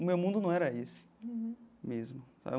O meu mundo não era isso mesmo.